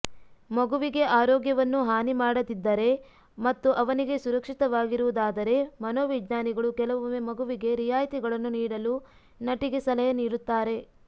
ಮಗುವಿಗೆ ಆರೋಗ್ಯವನ್ನು ಹಾನಿ ಮಾಡದಿದ್ದರೆ ಮತ್ತು ಅವನಿಗೆ ಸುರಕ್ಷಿತವಾಗಿರುವುದಾದರೆ ಮನೋವಿಜ್ಞಾನಿಗಳು ಕೆಲವೊಮ್ಮೆ ಮಗುವಿಗೆ ರಿಯಾಯಿತಿಗಳನ್ನು ನೀಡಲು ನಟಿಗೆ ಸಲಹೆ ನೀಡುತ್ತಾರೆ